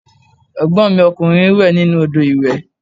Ẹ̀gbọ́n mi ọkùnrin n wẹ̀ nínú odò ìwẹ̀